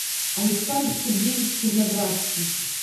александр сергеевич черноградский